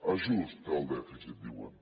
ajust del dèficit diuen